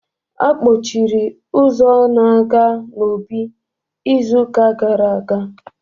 A kpọchiri ụzọ na-aga n'obí izu ụka gara aga